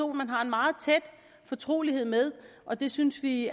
man har en meget tæt fortrolighed med og det synes vi